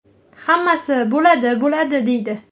Hammasi ‘bo‘ladi-bo‘ladi’ deydi.